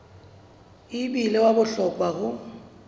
e bile wa bohlokwa ho